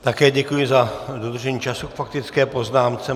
Také děkuji za dodržení času k faktické poznámce.